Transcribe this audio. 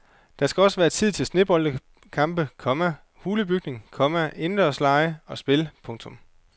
Der skal også være tid til sneboldkampe, komma hulebygning, komma indendørslege og spil. punktum